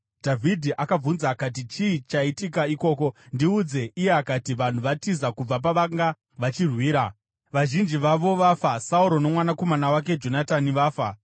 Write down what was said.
Dhavhidhi akabvunza akati, “Chii chaitika ikoko? Ndiudze.” Iye akati, “Vanhu vatiza kubva pavanga vachirwira. Vazhinji vavo vafa. Sauro nomwanakomana wake Jonatani vafa.”